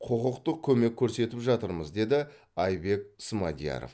құқықтық көмек көрсетіп жатырмыз деді айбек смадияров